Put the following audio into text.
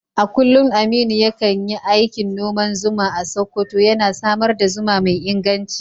A kullum Aminu ya kan yi aikin noman zuma a Sakkwato, yana samar da zuma mai inganci.